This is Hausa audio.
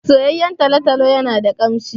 Soyayyen talo-talo yana da ƙamshi.